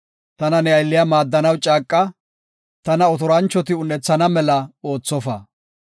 Tana ne aylliya maaddanaw caaqa; tana otoranchoti un7ethana mela oothofa.